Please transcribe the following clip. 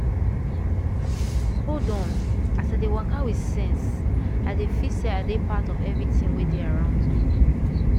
hold on as i dey waka with sense i dey feel say i dey part of everything wey dey around me.